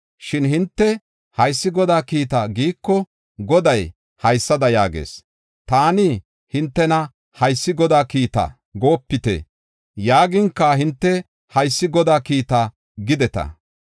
Shin hinte, ‘Haysi Godaa kiita’ giiko, Goday haysada yaagees: taani hintena, ‘Haysi Godaa kiita goopite’ yaaginka hinte, ‘Haysi Godaa kiita’ gideta.